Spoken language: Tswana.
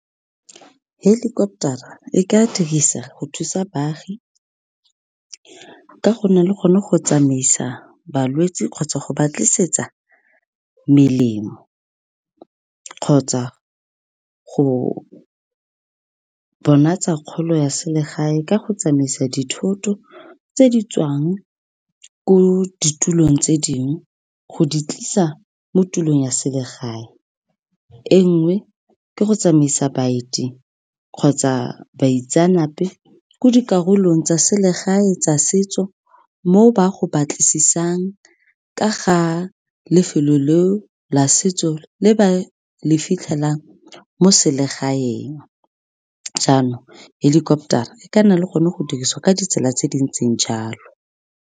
Helicopter-ra e ka dirisa go thusa baagi ka go nna le gone go tsamaisa balwetse kgotsa go ba tlisetsa melemo, kgotsa go bona tsa kgolo ya selegae ka go tsamaisa dithoto tse di tswang ko ditulong tse dingwe go di tlisa mo tulong ya selegae. E nngwe ke go tsamaisa baeti kgotsa baitsanape ko dikarolong tsa selegae tsa setso mo ba go batlisisang ka ga lefelo le o la setso le ba le fitlhelang mo selegaeng. Jaanong helicopter-ra e ka nna le gone go dirisiwa ka ditsela tse di ntseng jalo.